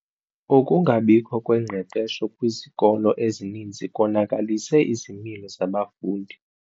Ukungabikho kwengqeqesho kwizikolo ezininzi konakalise izimilo zabafundi.